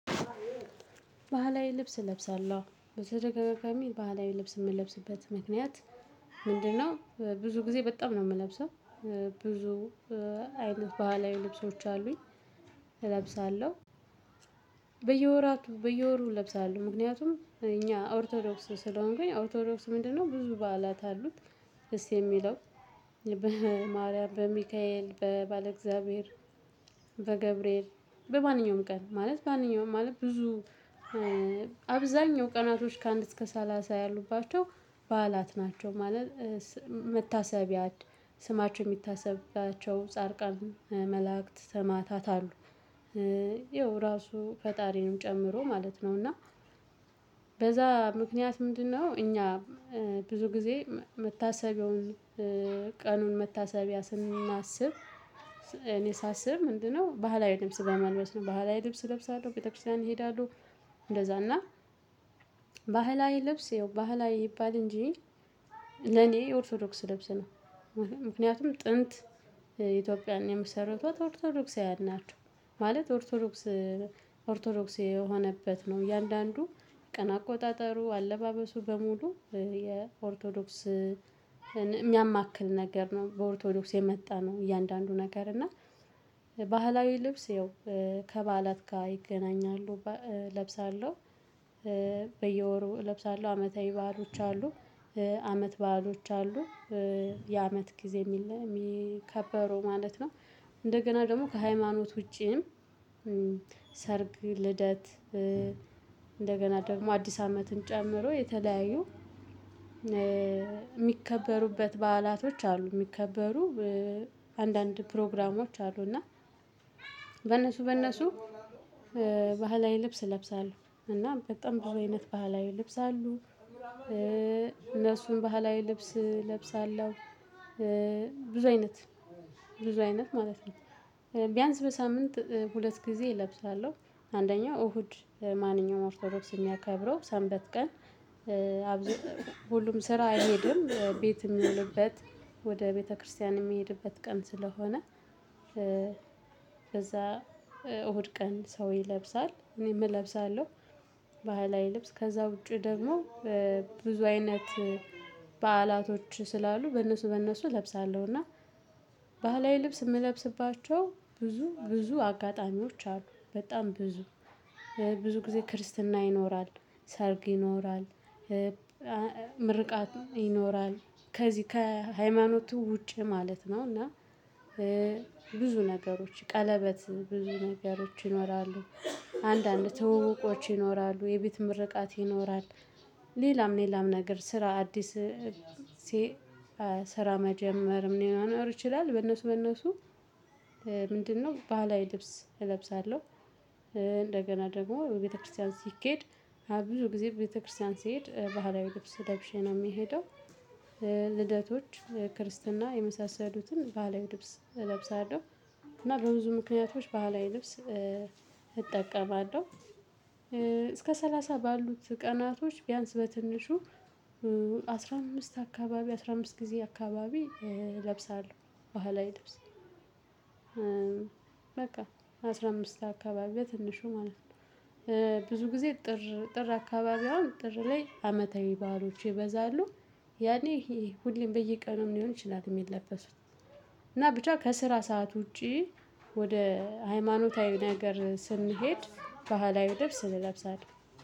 ባህላዊ ልብስ እለብሳለሁ በተደጋጋሚ ባህላዊ ልብስ የምለብስበት ምክንያት ምንድነው? ብዙ ጊዜ በጣም ነው የምለብሰው። ብዙ አይነት ባህላዊ ልብሶች አሉኝ። እለብሳለሁ። በየወራቱ በየወሩ እለብሳለሁ። ምክንያቱም እኛ ኦርቶዶክስ ስለሆንኩኝ ኦርቶዶክስ ምንድነው? ብዙ በዓላት አሉት። ደስ የሚለው። በማርያም በሚካኤል በባለእግዚአብሔር። በገብርኤል በማንኛውም ቀን ማለት ማንኛውም ማለት ብዙ። አብዛኛው ቀናቶች ከአንድ እስከ ሰላሳ ያሉባቸው በዓላት ናቸው። ማለት መታሰቢያ ስማቸው የሚታሰብባቸው ጻድቃን መላእክት ሰማዕታት አሉ። ያው ራሱ ፈጣሪንም ጨምሮ ማለት ነው። እና በዛ ምክንያት ምንድነው? እኛ ብዙ ጊዜ መታሰቢያውን ቀኑን መታሰቢያ ስናስብ። እኔ ሳስብ ምንድነው? ባህላዊ ልብስ በመልበስ ነው ባህላዊ ልብስ እለብሳለሁ ቤተ ክርስቲያን እሄዳለሁ። እንደዛ እና ባህላዊ ለብስ ያው ባህላዊ ይባል እንጂ። ለኔ የኦርቶዶክስ ልብስ ነው። ምክንያቱም ጥንት ኢትዮጵያን የመሰረቱት ኦርቶዶክሳዊያን ናቸው። ማለት ኦርቶዶክስ ኦርቶዶክስ የሆነበት ነው። እያንዳንዱ ቀን አቆጣጠሩ አለባበሱ በሙሉ የኦርቶዶክስን የሚያማክል ነገር ነው። በኦርቶዶክስ የመጣ ነው። እያንዳንዱ ነገር እና ባህላዊ ልብስ ይኸው ከበዓላት ጋር ይገናኛሉ እለብሳለሁ። በየወሩ እለብሳለሁ አመታዊ በዓሎች አሉ። አመት በዓሎች አሉ። የአመት ጊዜ የሚከበረው ማለት ነው። እንደገና ደግሞ ከሃይማኖት ውጪም ሰርግ ልደት እንደገና ደግሞ አዲስ አመትን ጨምሮ የተለያዩ የሚከበሩበት በዓላቶች አሉ። የሚከበሩ አንዳንድ ፕሮግራሞች አሉ። እና በእነሱ በእነሱ ባህላዊ ልብስ እለብሳለሁ። እና በጣም ብዙ አይነት ባህላዊ ልብስ አሉ። እነሱን ባህላዊ ልብስ እለብሳለሁ። ብዙ አይነት ብዙ አይነት ማለት ነው። ቢያንስ በሳምንት ሁለት ጊዜ እለብሳለሁ አንደኛው እሁድ ማንኛውም ኦርቶዶክስ የሚያከብረው ሰንበት ቀን። ሁሉም ስራ አይሄድም ቤት የሚዉልበት ወደ ቤተክርስቲያን የሚሄድበት ቀን ስለሆነ። በዛ እሁድ ቀን ሰው ይለብሳል እኔም እለብሳለሁ። ባህላዊ ልብስ ከዛ ውጪ ደግሞ ብዙ አይነት በዓላቶች ስላሉ በእነሱ በእነሱ እለብሳለሁ። እና ባህላዊ ልብስ የምለብስባቸው ብዙ ብዙ አጋጣሚዎች አሉ። በጣም ብዙ ብዙ ጊዜ ክርስትና ይኖራል። ሰርግ ይኖራል። ምርቃት ይኖራል። ከዚህ ከሃይማኖቱ ውጪ ማለት ነው። እና ነገሮች ቀለበት ብዙ ነገሮች ይኖራሉ። አንዳንድ ትዉውቆች ይኖራሉ የቤት ምርቃት ይኖራል። ሌላም ሌላም ነገር ስራ አዲስ ስራ መጀመር ምን ይሆናል ይችላል? በነሱ በነሱ ምንድነው? ባህላዊ ልብስ እለብሳለሁ። እንደገና ደግሞ ቤተክርስቲያን ሲኬድ ብዙ ጊዜ ቤተክርስቲያን ሲሄድ ባህላዊ ልብስ ለብሼ ነው የሚሄደው። ልደቶች ክርስትና የመሳሰሉትን ባህላዊ ልብስ እለብሳለሁ። እና በብዙ ምክንያቶች ባህላዊ ልብስ እጠቀማለሁ። እስከ ሰላሳ ባሉት ቀናቶች ቢያንስ በትንሹ አስራ አምስት አካባቢ አስራ አምስት ጊዜ አካባቢ እለብሳለሁ። ባህላዊ ድብስ በቃ አስራ አምስት አካባቢ በትንሹ ማለት ነው። ብዙ ጊዜ ጥር ጥር አካባቢ አሁን ጥር ላይ አመታዊ ባህሎች ይበዛሉ። ያኔ ሁሌም በየቀኑም ሊሆን ይችላል የሚለበሱት። እና ብቻ ከስራ ሰዓት ውጪ። ወደ ሃይማኖታዊ ነገር ስንሄድ ባህላዊ ልብስ እንለብሳለን።